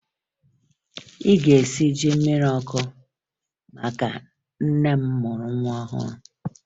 Ị ga-esi ji mmiri ọkụ maka nne mụrụ nwa ọhụrụ!